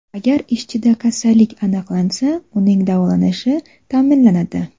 Agar ishchida kasallik aniqlansa, uning davolanishi ta’minlanadi.